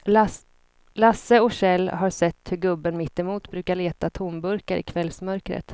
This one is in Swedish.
Lasse och Kjell har sett hur gubben mittemot brukar leta tomburkar i kvällsmörkret.